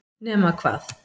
nema hvað